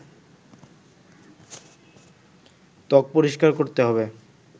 ত্বক পরিষ্কার করতে হবে